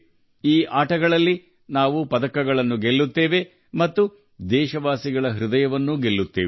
ಈ ಕ್ರೀಡಾಕೂಟಗಳಲ್ಲಿ ಪದಕಗಳನ್ನು ಗೆದ್ದು ದೇಶವಾಸಿಗಳ ಹೃದಯವನ್ನೂ ಗೆಲ್ಲಬೇಕು